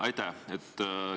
Aitäh!